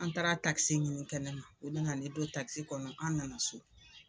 An taara ɲini kɛnɛma, u nana ne don kɔnɔ an nana so.